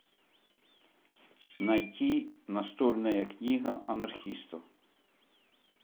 найти настольная книга анархиста